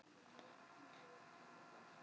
Ég gekk á eftir henni með grasið í skónum!